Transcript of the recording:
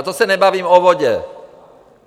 A to se nebavím o vodě!